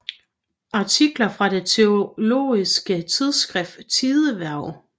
Artikler fra det teologiske tidsskrift Tidehverv